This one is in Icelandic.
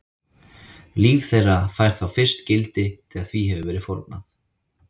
Líf þeirra fær þá fyrst gildi þegar því hefur verið fórnað.